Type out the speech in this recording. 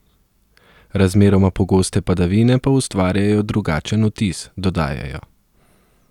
Razmeroma pogoste padavine pa ustvarjajo drugačen vtis, dodajajo.